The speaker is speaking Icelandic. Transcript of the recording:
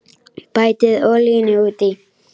Bætið olíunni út í.